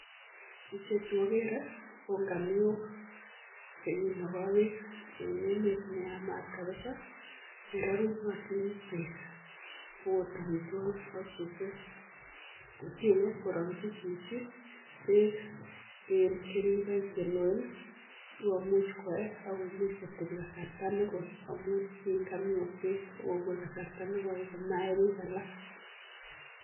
Ichechuuu agere kongamiok cheginagai peeek Eng emet nemamii peeek AK susweek koyacheii kocheng chichiii olemiii peeeek sikokachii